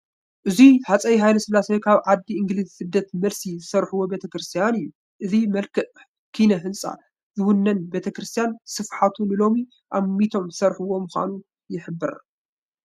እዚ ሃፀይ ሃይለስላሴ ካብ ዓዲ እንግሊዝ ስደት መልሲ ዘስርሕዎ ቤተ ክርስቲያን እዩ፡፡ እዚ ምልኩዕ ኪነ ህንፃ ዝወነነ ቤተ ክርስቲያን ስፍሓቱ ንሎሚ ኣሚቶም ዝሰርሕዎ ምዃኑ ይሕብር፡፡